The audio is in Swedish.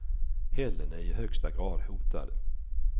Hällen är i högsta grad hotad.